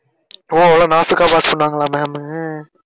ஒஹ் நாசூக்கா pass பண்ணுவாங்களா ma'am உ